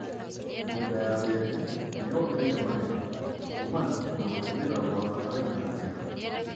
Mĩgũnda ya mbembe nĩ yongereire magetha kuumana na gũtũmĩra gwa bataraitha njega.